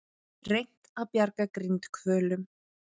Reynt að bjarga grindhvölum